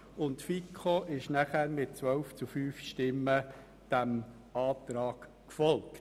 Er wurde in der FiKo dann mit 12 zu 5 Stimmen gutgeheissen.